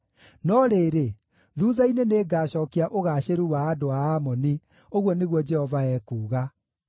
“No rĩrĩ, thuutha-inĩ nĩngacookia ũgaacĩru wa andũ a Amoni,” ũguo nĩguo Jehova ekuuga.